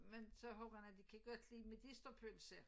Men så ungerne de kan godt lide medisterpølse